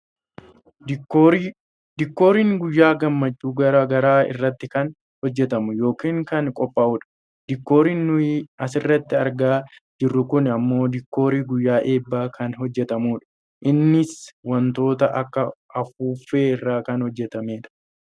Diikoorii, diikooriin guyyaa gammachuu gara garaa irratti kan hojjatamu yookaan kan qophaa'udha. Diikooriin nuyi asirratti argaa jirru kun ammoo diikoorii guyyaa eebbaa kan hojjatamedha. Innis wantoota akka afuuffee irraa kan hojjatamedha.